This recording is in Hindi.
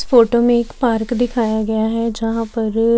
फोटो में एक पार्क दिखाया गया है जहां पर--